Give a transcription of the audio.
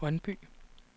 Brøndby